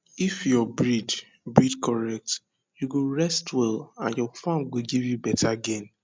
if your breed breed correct you go rest well and your farm go give you better gain